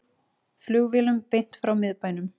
Flugvélum beint frá miðbænum